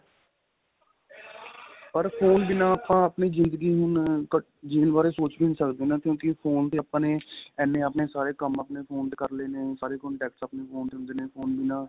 ਪਰ phone ਬਿੰਨਾ ਆਪਾਂ ਆਪਣੀ ਜਿੰਦਗੀ ਹੁਣ ਜੀਣ ਬਾਰੇ ਸੋਚ ਵੀ ਨਹੀਂ ਸਕਦੇ ਨਾ ਕਿਉਂਕਿ phone ਦੇ ਆਪਾਂ ਨੇ ਇੰਨੇ ਆਪਣੇ ਸਾਰੇ ਕੰਮ ਆਪਣੇ phone ਤੇ ਕਰ ਲੈਨੇ ਆ ਸਾਰੇ contacts ਆਪਣੇ phone ਚ ਹੁੰਦੇ ਨੇ phone ਬਿੰਨਾ